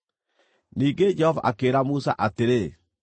Ningĩ Jehova akĩĩra Musa atĩrĩ,